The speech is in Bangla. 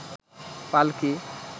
পালকি